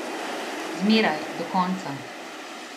Zmeraj, do konca.